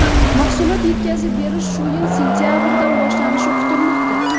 Mahsulot yetkazib berish shu yil sentabridan boshlanishi kutilmoqda.